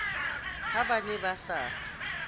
ha ba ne ba sa